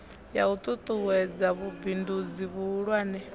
ya u ṱuṱuwedza vhubindudzi vhuhulwane